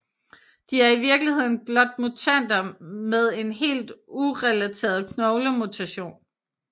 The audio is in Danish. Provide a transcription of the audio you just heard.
De er i virkeligheden blot mutanter med en helt urelateret knoglemutation